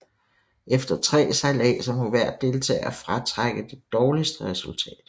Efter tre sejladser må hver deltager fratrække det dårligste resultat